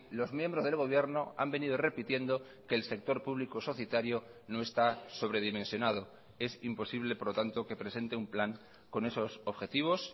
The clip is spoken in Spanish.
los miembros del gobierno han venido repitiendo que el sector público societario no está sobredimensionado es imposible por lo tanto que presente un plan con esos objetivos